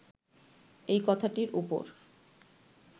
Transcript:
এই কথাটির উপর